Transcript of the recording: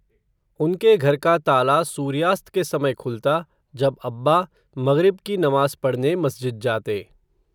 उनके घर का ताला, सूर्यास्त के समय खुलता, जब अब्बा, मग़रिब की नमाज़ पढ़ने मस्जिद जाते